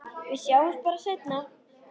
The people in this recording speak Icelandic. Við sjáumst bara seinna.